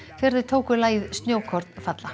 þegar þeir tóku lagið snjókorn falla